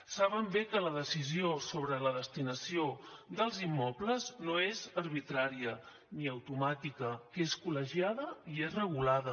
saben bé que la decisió sobre la destinació dels immobles no és arbitrària ni automàtica que és col·legiada i és regulada